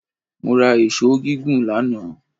Mo ra èṣó gígùn lánàá